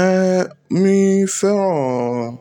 Eh, mi fẹ́ràn